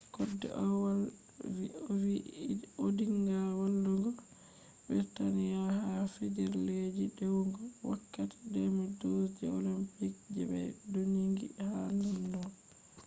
kode ovolwi ovi odinga vallugo je britani’a ha je fijirleji dewugo wakkati 2012 je olympics je be dougini ha london